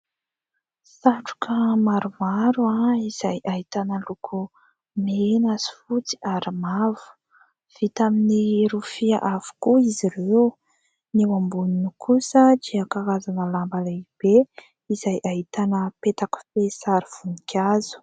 Satroka maromaro izay ahitana loko mena sy fotsy ary mavo. Vita amin'ny rofia avokoa izy ireo. Ny eo amboniny kosa dia karazana lamba lehibe izay ahitana peta-kofehy sary voninkazo.